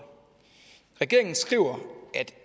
regeringen skriver at